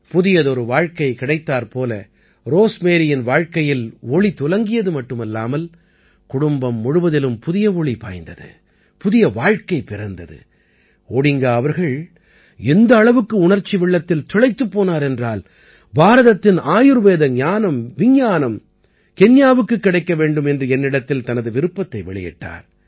புதியதொரு வாழ்க்கை கிடைத்தாற்போல ரோஸ்மேரியின் வாழ்க்கையில் ஒளி துலங்கியது மட்டுமல்லாமல் குடும்பம் முழுவதிலும் புதிய ஒளி பாய்ந்தது புதிய வாழ்க்கை பிறந்தது ஓடிங்கா அவர்கள் எந்த அளவுக்கு உணர்ச்சி வெள்ளத்தில் திளைத்துப் போனார் என்றால் பாரதத்தின் ஆயுர்வேத ஞானம் விஞ்ஞானம் கென்யாவுக்குக் கிடைக்க வேண்டும் என்று என்னிடத்தில் தனது விருப்பத்தை வெளியிட்டார்